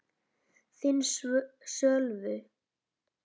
Þinn, Sölvi.